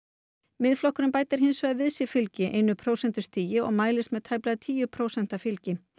Miðflokkurinn bætir hins vegar við sig fylgi einu prósentustigi og mælist með tæplega tíu prósenta fylgi